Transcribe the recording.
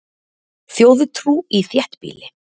Þjóðtrú í þéttbýli